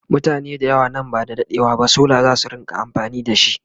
mutane da yawa nan ba da daɗewa ba solar zasu rinka amfani da shi